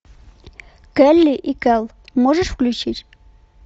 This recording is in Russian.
келли и кэл можешь включить